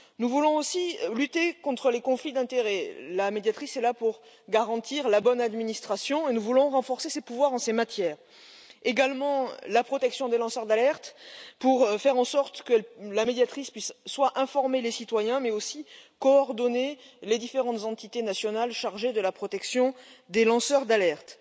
Nous voulons aussi lutter contre les conflits d'intérêts la Médiatrice est là pour garantir la bonne administration et nous voulons renforcer ses pouvoirs en ces matières ainsi que la protection des lanceurs d'alerte, pour faire en sorte que la Médiatrice puisse informer les citoyens, mais aussi coordonner les différentes entités nationales chargées de la protection des lanceurs d'alerte.